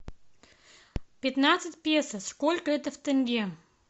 пятнадцать песо сколько это в тенге